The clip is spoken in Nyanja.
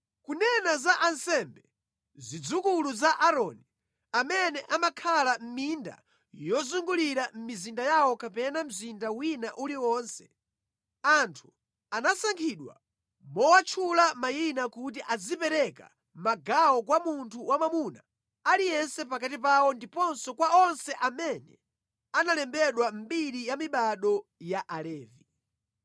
Kunena za ansembe, zidzukulu za Aaroni, amene amakhala mʼminda yozungulira mizinda yawo kapena mzinda wina uliwonse, anthu anasankhidwa mowatchula mayina kuti azipereka magawo kwa munthu wamwamuna aliyense pakati pawo ndiponso kwa onse amene analembedwa mʼmbiri ya mibado ya Alevi.